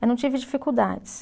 Eu não tive dificuldades.